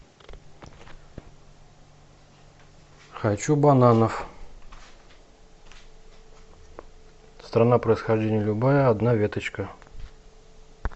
хочу бананов страна происхождения любая одна веточка